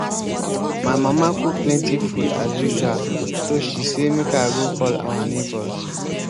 my mama cook plenty food as usual so she say make i go call our neighbours